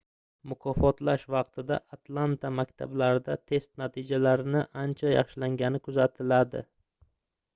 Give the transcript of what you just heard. mukofotlash vaqtida atlanta maktablarida test natijalarining ancha yaxshilangani kuzatildi